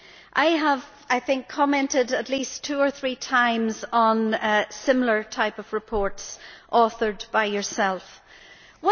I have, I think, commented at least two or three times on similar types of reports authored by Mr Duff.